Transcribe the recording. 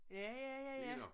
Ja ja ja ja